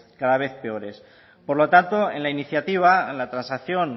cada vez peores por lo tanto en la iniciativa en la transacción